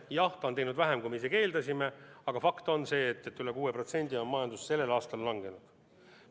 Jah, ta on seda teinud vähem, kui me eeldasime, aga fakt on see, et üle 6% on majandus sellel aastal langenud.